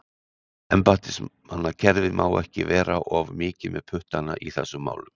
Embættismannakerfið má ekki vera of mikið með puttana í þessum málum.